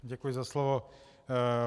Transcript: Děkuji za slovo.